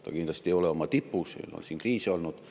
See kindlasti ei ole oma tipus, meil on siin kriise olnud.